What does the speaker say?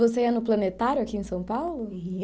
Você ia no Planetário aqui em São Paulo? Ia